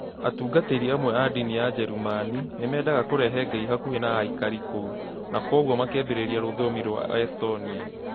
Atungatĩri amwe a ndini thĩinĩ wa Njerumani[German] nĩ meendaga kũrehe Ngai hakuhi na aikari a kũu, na kwoguo makĩambĩrĩria rũthiomi rwa Estonian.